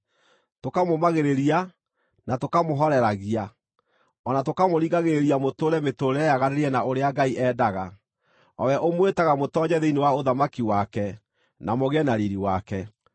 tũkamũmagĩrĩria, na tũkamũhooreragia, o na tũkamũringagĩrĩria mũtũũre mĩtũũrĩre yaganĩrĩire na ũrĩa Ngai endaga, o we ũmwĩtaga mũtoonye thĩinĩ wa ũthamaki wake, na mũgĩe na riiri wake.